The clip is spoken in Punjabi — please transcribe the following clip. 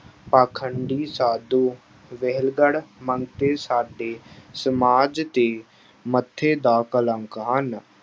ਪਾਖੰਡੀ ਸਾਧੂ ਵਿਹਲੜ ਮੰਤਰੀ ਸਾਡੇ ਸਮਾਜ ਦੇ ਮੱਥੇ ਦਾ ਕਲੰਕ ਹਨ।